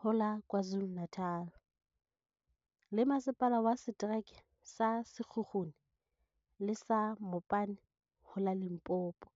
ho la KwaZulu-Na tal, le Masepala wa Setereke sa Sekhukhune le sa Mopani ho la Limpopo.